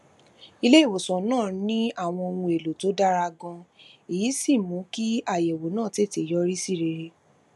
iléìwòsàn náà ní àwọn ohun èlò tó dára ganan èyí sì mú kí àyèwò náà tètè yọrí sí rere